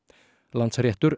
Landsréttur